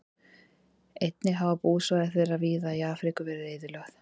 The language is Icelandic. Einnig hafa búsvæði þeirra víða í Afríku verið eyðilögð.